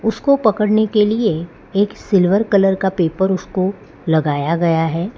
उसको पकड़ने के लिए एक सिल्वर कलर का पेपर उसको लगाया गया है।